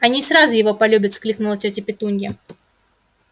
они сразу его полюбят воскликнула тётя петунья